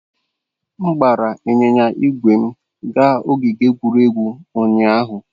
M gbara ịnyịnya ígwè m gaa ogige egwuregwu ụnyahụ.